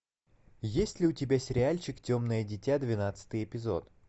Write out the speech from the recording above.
есть ли у тебя сериальчик темное дитя двенадцатый эпизод